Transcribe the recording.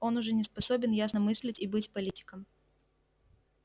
он уже не способен ясно мыслить и быть политиком